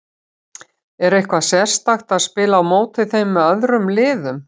Er eitthvað sérstakara að spila á móti þeim en öðrum liðum?